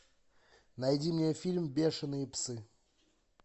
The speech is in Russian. найди мне фильм бешеные псы